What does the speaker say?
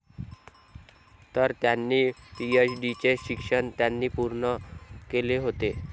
तर त्यांनी पीएचडीचे शिक्षण त्यांनी पूर्ण केले होते.